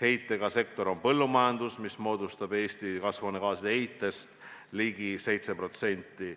heidet tekitav sektor on põllumajandus, mis annab Eesti kasvuhoonegaaside heitest ligi 7%.